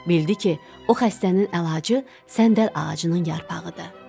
Bildi ki, o xəstənin əlacı səndəl ağacının yarpağıdır.